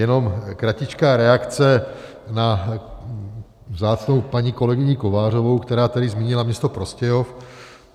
Jenom kratičká reakce na vzácnou paní kolegyni Kovářovou, která tady zmínila město Prostějov.